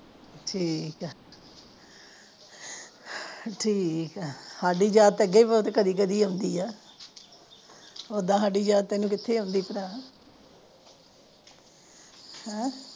ਠੀਕ ਆ ਠੀਕ ਆ ਸਾਡੀ ਯਾਦ ਤਾ ਅੱਗੇ ਕਦੇ ਕਦੇ ਹੀ ਆਉਦੀ ਆ ਉਦਾ ਸਾਡੀ ਯਾਦ ਤੁਹਾਨੂੰ ਕਿੱਥੇ ਆਉਂਦੀ ਭਰਾ ਹੇ